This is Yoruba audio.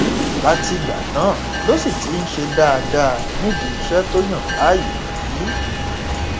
látìgbà náà ló sì ti ń ṣe dáadáa nídìí iṣẹ tó yàn láàyò yìí